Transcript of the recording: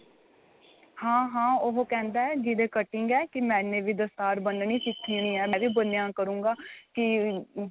ਹਾਂ ਹਾਂ ਉਹ ਕਹਿੰਦਾ ਜਿਹਦੇ ਕਟਿੰਗ ਏ ਕੀ ਮੈਂਨੇ ਵੀ ਦਸਤਾਰ ਬੰਨਣੀ ਸਿੱਖਣੀਏ ਮੈਂ ਵੀ ਬੰਨਿਆ ਕਰੂਗਾ ਕਿ